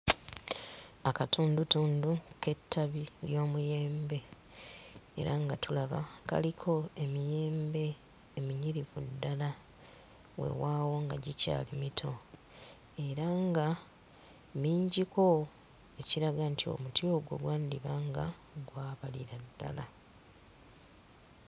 Akatundutundu k'ettabi ly'omuyembe. Era nga tulaba kaliko emiyembe eminyirivu ddala weewaawo nga gikyali mito era nga mingiko ekiraga nti omuti ogwo gwandiba nga gwabalira ddala.